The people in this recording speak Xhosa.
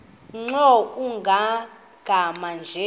nkr kumagama anje